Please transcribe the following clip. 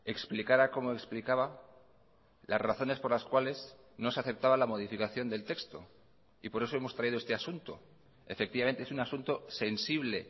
explicara como explicaba las razones por las cuales no se aceptaba la modificación del texto y por eso hemos traído este asunto efectivamente es un asunto sensible